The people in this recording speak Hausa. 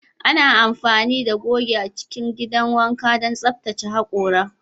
Ana amfani da goge a cikin gidan wanka don tsaftace hakora